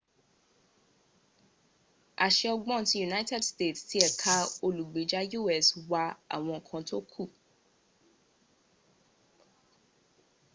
àṣẹ ọgbọ́n ti united states tí ẹ̀ka olùgbèjà u.s wà àwọn ǹkan tó kù